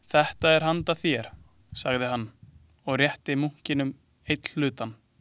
Þetta er handa þér, sagði hann, og rétti munkinum einn hlutann.